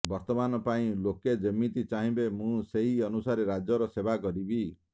ବର୍ତ୍ତମାନ ପାଇଁ ଲୋକେ ଯେମିତି ଚାହିଁବେ ମୁଁ ସେହି ଅନୁସାରେ ରାଜ୍ୟର ସେବା କରିବି